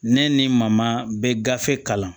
Ne ni maa ma bɛ gafe kalan